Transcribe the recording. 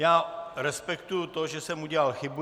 Já respektuji to, že jsem udělal chybu.